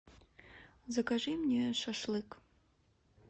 закажи мне шашлык